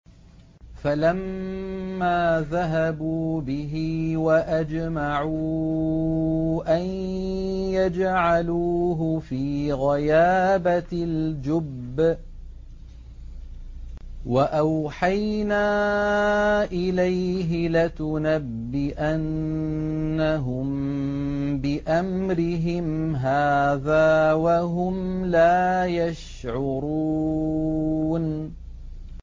فَلَمَّا ذَهَبُوا بِهِ وَأَجْمَعُوا أَن يَجْعَلُوهُ فِي غَيَابَتِ الْجُبِّ ۚ وَأَوْحَيْنَا إِلَيْهِ لَتُنَبِّئَنَّهُم بِأَمْرِهِمْ هَٰذَا وَهُمْ لَا يَشْعُرُونَ